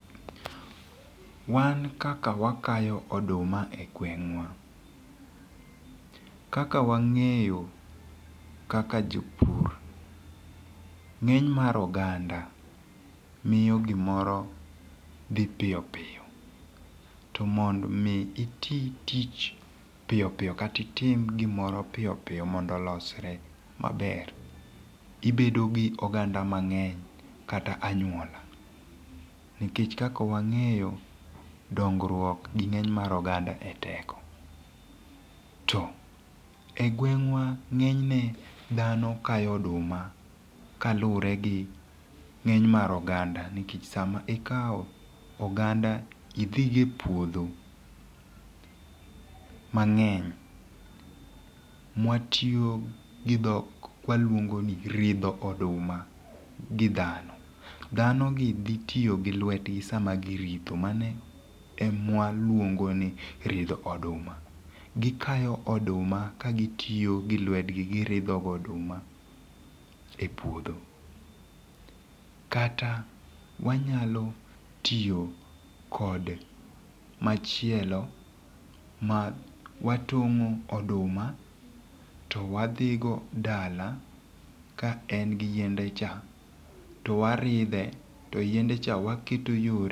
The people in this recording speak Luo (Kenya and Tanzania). Wan kaka wakayo oduma e gweng'wa kaka wang'eyo kaka jopur, nge'ny mar oganda miyo gimoro dhi piyo piyo kata itim gimoro piyo piyo mondo olosre maber ibedo gi oganda mang'eny kata anyuola nikech kaka wang'eyo dongruok gi nge'ny mar oganda e teko to e gweng'wa nge'nyne dhano kayo oduma kaluwore gi nge'ny mar oganda, nikech sama ikawo oganda idhigo e puodho mange'ny mwatiyogo gi thok kwaluongo ni ridho oduma gi dhano, thanogi thitiyo gi lwetgi giridhogo oduma e puodho kata wanyalo tiyo kod machielo ma watongo' odoma to wadhigo dala kae to en gi yiende cha to warithe kae to yiende cha waketo yore